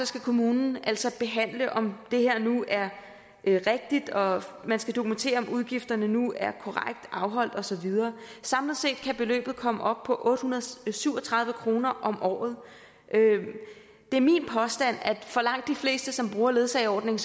skal kommunen altså behandle om det her nu er rigtigt og man skal dokumentere om udgifterne nu er korrekt afholdt og så videre samlet set kan beløbet komme op på otte hundrede og syv og tredive kroner om året det er min påstand at for langt de fleste som bruger ledsageordningen